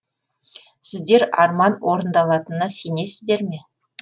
сіздер арман орындалатына сенесіздер ме